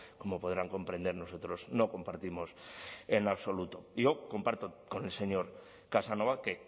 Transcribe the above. como podrán comprender nosotros no compartimos en absoluto yo comparto con el señor casanova que